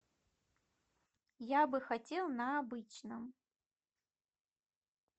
я бы хотел на обычном